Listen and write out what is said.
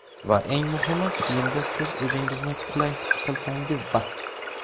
va eng muhimi kiyimda siz o‘zingizni qulay his qilsangiz bas.